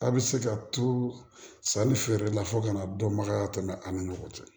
A' bɛ se ka to sanni feerela fo kana dɔnbagaya tɛ ani ɲɔgɔn cɛ